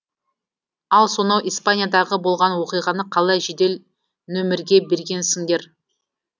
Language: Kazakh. ал сонау испаниядағы болған оқиғаны қалай жедел нөмірге бергенсіңдер